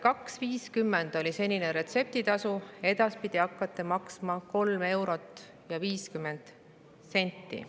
Kaks eurot ja 50 senti oli senine retseptitasu, edaspidi hakkate maksma 3 eurot ja 50 senti.